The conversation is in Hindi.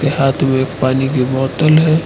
हाथ में एक पानी की बोतल है।